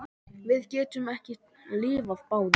Við getum ekki lifað báðum.